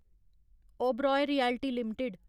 Oberoi realty limited